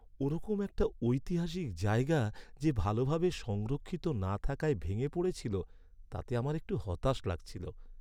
ওরকম একটা ঐতিহাসিক জায়গা যে ভালোভাবে সংরক্ষিত না থাকায় ভেঙে পড়েছিল তাতে আমার একটু হতাশ লাগছিল।